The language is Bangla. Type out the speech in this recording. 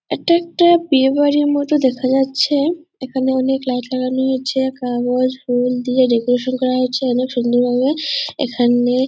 এইটা একটা বিয়ের বাড়ির মতো দেখা যাচ্ছে | এইখানে অনেক লাইট লাগানো আছে | কাগজ ফুল দিয়ে ডেকোরেশন করা হয়েছে | অনেক সুন্দরভাবে এখানে --